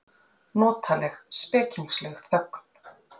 Notaleg, spekingsleg þögn.